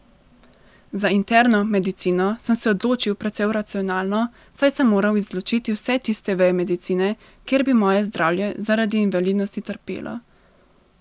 Za interno medicino sem se odločil precej racionalno, saj sem moral izločiti vse tiste veje medicine, kjer bi moje zdravje zaradi invalidnosti trpelo.